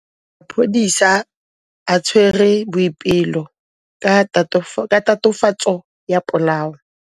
Maphodisa a tshwere Boipelo ka tatofatsô ya polaô.